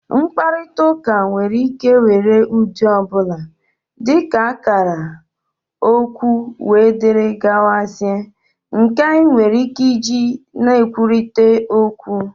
mkparịta ụka nwere ike were ụdị ọ bụla, dị ka akara, okwu wdg, nke anyị nwere ike iji na-ekwurịta okwu